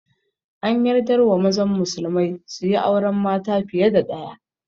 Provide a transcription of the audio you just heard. An yardar wa mazan musulmai suyi auren mata fiye da ɗaya